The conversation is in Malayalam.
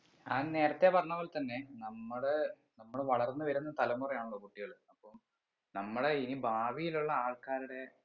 ഞാൻ നേരത്തെ പറഞ്ഞത് പോലെ തന്നെ നമ്മള് നമ്മൾ വളർന്ന് വരുന്ന തലമുറ ആണല്ലോ കുട്ടികള് അപ്പം നമ്മളെ ഇനി ഭാവിയിൽ ഉള്ള ആൾക്കാരുടെ